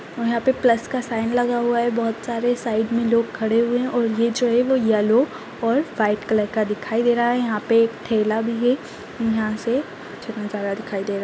और यहाँ पे प्लस का साइन लगा हुआ है बहोत सारे साइड में लोग खड़े हुए हैं और ये जो है वो येल्लो और वाइट कलर का दिखाई दे रहा है यहाँ पे एक ठेला भी है यहाँ से अच्छे नजारा दिखाई दे रहा--